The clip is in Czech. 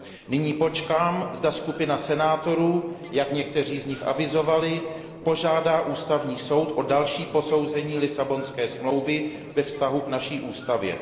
Nyní počkám, zda skupina senátorů, jak někteří z nich avizovali, požádá Ústavní soud o další posouzení Lisabonské smlouvy ve vztahu k naší ústavě.